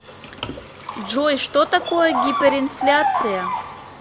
джой что такое гиперинфляция